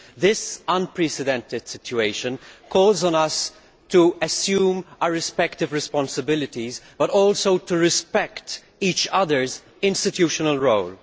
This unprecedented situation calls for us to assume our respective responsibilities, but also to respect each other's institutional role.